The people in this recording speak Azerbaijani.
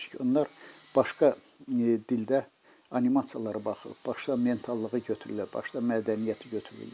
Onunçun ki, bunlar başqa dildə animasiyalara baxıb, başqa mentalığı götürürlər, başqa mədəniyyəti götürürlər.